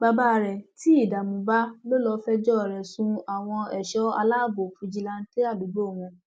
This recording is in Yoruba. baba rẹ tí ìdààmú bá lò lọọ fẹjọ rẹ sun àwọn ẹṣọ aláàbọ fìjìláńtẹ àdúgbò wọn